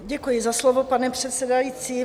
Děkuji za slovo, pane předsedající.